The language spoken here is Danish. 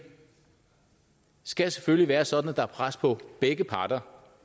skal selvfølgelig være sådan at der er pres på begge parter